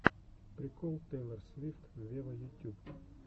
прикол тейлор свифт вево ютюб